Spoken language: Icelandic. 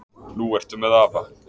Nú ertu með afa.